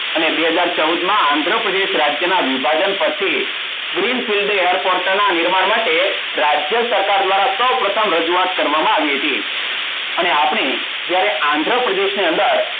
અને બે હાજર ચવુડમાં આંધ્રપ્રદેશના વિભાજન પછી Green City Airport ના નિર્માણ માટે રાજ્ય ટાકા દ્વારા સૌ પ્રથમ રજુવાત કરવામાં આવી હતી અને આપણી જયારે આંધ્રપ્રદેશની અંદર